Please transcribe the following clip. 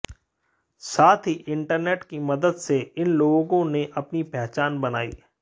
साथ ही इंटरनेट की मदद से इन लोगों ने अपनी पहचान बनाई